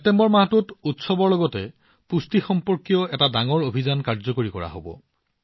ছেপ্টেম্বৰ মাহটো উৎসৱৰ লগতে পুষ্টি সম্পৰ্কীয় এটা ডাঙৰ অভিযানৰ বাবে উৎসৰ্গিত